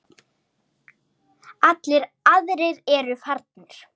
Allir aðrir eru farnir.